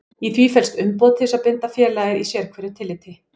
Í því felst umboð til þess að binda félagið í sérhverju tilliti.